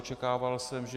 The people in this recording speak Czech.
Očekával jsem, že...